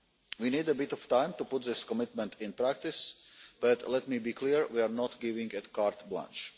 We need a bit of time to put this commitment into practice, but let me be clear, we are not giving a carte blanche